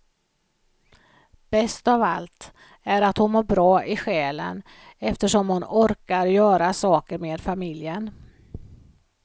Bäst av allt är att hon mår bra i själen, eftersom hon orkar göra saker med familjen.